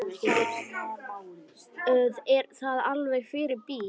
Er það alveg fyrir bí?